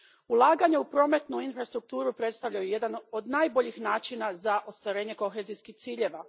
Ulaganja u prometnu infrastrukturu predstavljaju jedan od najboljih načina za ostvarenje kohezijskih ciljeva.